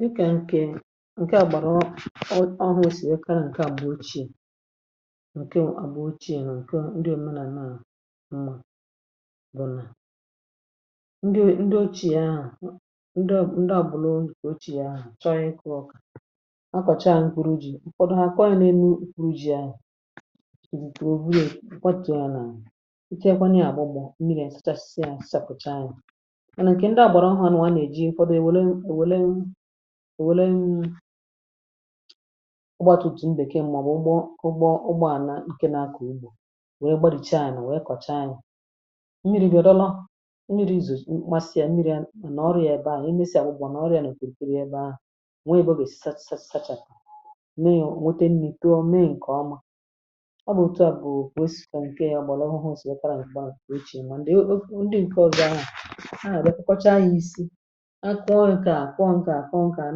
Dìkà ǹkè ǹke à gbàrà, ọ ọwụ̇ e si nwere kara. ǹkè à gbụ̀ ochì, ǹkè à gbụ̀ ochì, ǹkè ndi na-ème n’àna. À bụ̀ nà ndi ochì à ahụ̀ ndi à bụ̀ lọ ochì à. Chọrọ̇ ịkọ̇ ọkà, akọ̀chaa ahụ̀ m kwuru. Ji ụ̀fọdụ hȧ kwaọ̀ nà-ème, kwuru ji à yá. Nà ǹkè ndị à gbàra ụhà, nà nwaà nà-èji ụfọdụ èwèlem, èwèlem, èwèlem. Ụgbọ àtùtù mbeke m. Mà ọ̀ bụ̀ ụgbọ, ụgbọ ànà ǹkè nà-akọ̀ igbò. Nwèe gbarìchi ànyà, nwèe kọ̀cha ànyà. Nwere yȧ dọlo, nwere izù nkpasị. Yȧ nwere yȧ nà ọrụ yȧ. Ebe à nà e mesì àgbụ̀gbà nà ọrụ yȧ, nà òkwurìkeri ebe ahụ̀. Nwee bụ̀ èsìsachàkà nè iyo. Nwete nnìto, mee ǹkè oma. Ọ bụ̀ òtù a bụ̀ wee sikwa ǹkè ọ̀bàlà ọhụ. Hụ sị̀ fekara ǹkè o ichèrì haà, lèkwakwacha yȧ isi akụọ ǹkè àkụọ, ǹkè àkụọ, ǹkè à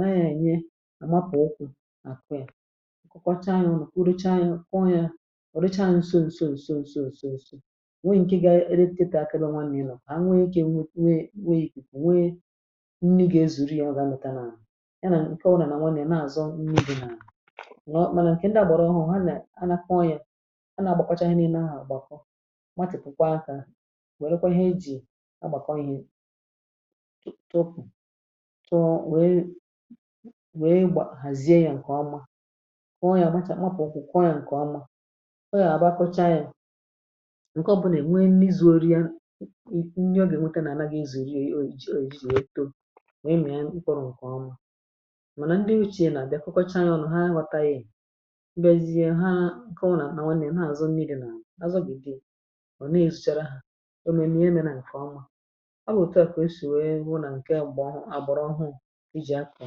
na-ànyị ye àmapụ̀ okwu̇ àkwẹ̀a. Ǹkwakwacha yȧ ụlọ̀ kwụrụcha yȧ, ụ̀kwụọ yȧ. Ọ̀ rụchaa ǹso, ǹso, ǹso, ǹso, ǹso, ǹso, ǹso, ǹso, nweghị̇ ǹkè ga-eretiti akịdọ. Nwa n’ilò hà, nweghị̇ ike; nwe nweghị̇ ìkù; nwe nni. Gà-ezùri yȧ ọ̀ganùta n’àhụ ya, nà ǹkẹ ụrȧ. Nà nwa nà-àzọ n’ubì nà nọ mànà ǹkè ndị àgbàrà ọhụ̇ ha. Nà ha nà-akwọ yȧ, ha nà-agbàkpacha yȧ. N’ime ahụ̀, gbakọ matị̀pụ̀kwa akȧ tupu too. Wee wee gbaa hàzie ya ǹkè ọma; too ọ yà. Ọ bụ̀chàkwà ọkụ̀: kwụọ ya ǹkè ọma. O yà abụọ kwa ya ǹke. Ọ bụlà è nwe n’izu̇ rịa ihe ọ gà-ènwete. Nà ànaghị izù, riė oyi, oyi, oyi to. Mà nà ndị nwuche nà-àbịa kọkọcha ya. Ụọn ha anwata yȧ i gbezie ha ǹkè ọ nà nà nwe nà ha àzụ. N’iri̇ nà àzụ gị̀, dị ọ̀ nà è zụchara hȧ. Ọ bụ̀ òtù a kà o sì nwère wụ nà ǹke àgbọ̀ ọhụrụ, àgbọ̀rụ ọhụrụ. I jì a kà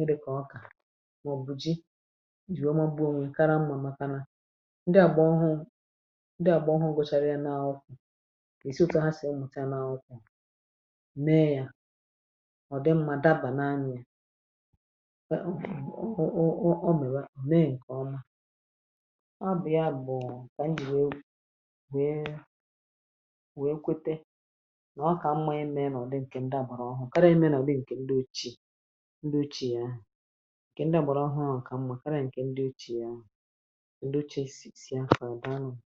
i di, kà ọ kà; mà ọ̀ bụ̀ ji i jì rụọma. Gboo nwè nkara mma. Màkana ndi àgbọ ọhụ ndi àgbọ ọhụ gȯchàrà ya n’akụkụ̀. È sịotu ha sì ị mụ̀cha n’akụkụ̀; mee yȧ. Ọ̀ dị mmȧ dabà n’anya — e e e. Ọ mèrè mee nke ọma. Ọ bụ̀ ya bụ̀ kà i yì wèe, wèe kàrị̀a emėnà ǹkè ndị ocheè, ndị ocheì ahụ̀, ǹkè ndị ọ̀hụrụ̇ ahụ̀, ǹkè mmȧ kàrị̀a, ǹkè ndị ocheì ahụ̀, ndị ocheè sì akhọ dàa nwȧ.